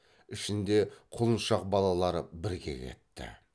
ішінде құлыншақ балалары бірге кетті